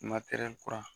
kura